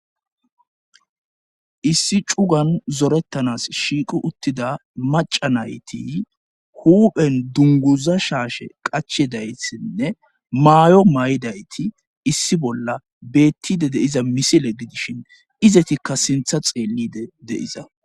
Issi cugan zorettanas shiiqu uttida maca nayti huphen dunguza shaashe qachedaytsinne maayo may7idayti issi bolla beettide deiza misile gidishin izetikka sintha xeellide deiza